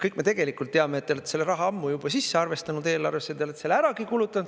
Kõik me tegelikult teame, et te olete selle raha ammu juba sisse arvestanud eelarvesse, te olete selle äragi kulutanud.